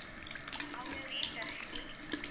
அவங்க name தர்ஷினி